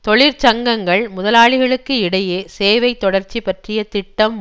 தொழிற்சங்கங்கள் முதலாளிகளுக்கு இடையே சேவைத் தொடர்ச்சி பற்றிய திட்டம்